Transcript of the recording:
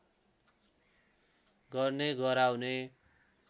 गर्ने गराउने